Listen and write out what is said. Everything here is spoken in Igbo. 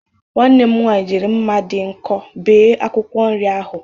Nwanne m nwaanyị jiri mma dị nkọ bee akwụkwọ nri ahụ.